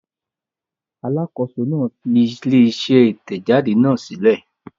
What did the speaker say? Alákòóso náà fi ilé-iṣẹ́ Ìtẹ̀jáde náà sílẹ̀.